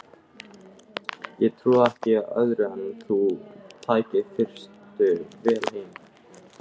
Ég trúði ekki öðru en að þú tækir fyrstu vél heim.